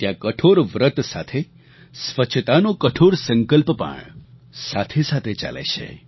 ત્યાં કઠોર વ્રત સાથે સ્વચ્છતાનો કઠોર સંકલ્પ પણ સાથે સાથે ચાલે છે